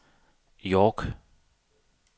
York